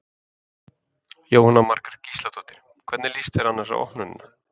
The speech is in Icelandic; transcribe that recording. Jóhanna Margrét Gísladóttir: Hvernig líst þér annars á opnunina?